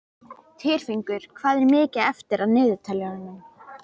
Tyrfingur, hvað er mikið eftir af niðurteljaranum?